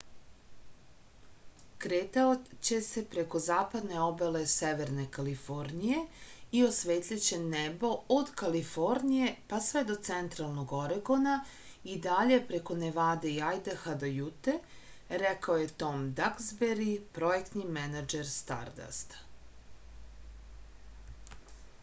kretaće se preko zapadne obale severne kalifornije i osvetliće nebo od kalifornije pa sve do centralnog oregona i dalje preko nevade i ajdaha do jute rekao je tom daksberi projektni menadžer stardasta